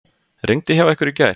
Rigndi hjá ykkur í gær?